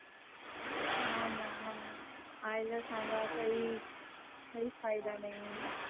हाना आयलं सागा काही ही फायदा नाही.